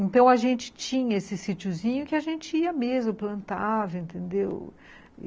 Então a gente tinha esse sitiozinho que a gente ia mesmo, plantava, entendeu?